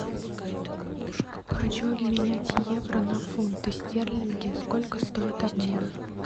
хочу обменять евро на фунты стерлинги сколько стоит обмен